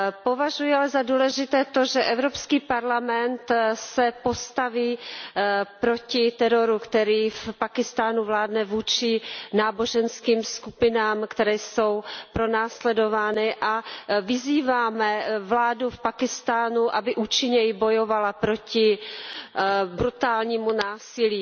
Považuji ale za důležité to, že EP se postaví proti teroru, který v Pákistánu vládne vůči náboženským skupinám, které jsou pronásledovány, a že vyzýváme vládu v Pákistánu, aby účinněji bojovala proti brutálnímu násilí.